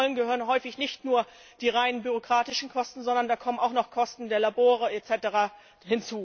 Denn zu den Kontrollen gehören häufig nicht nur die rein bürokratischen Kosten, sondern da kommen auch noch Kosten der Labore usw.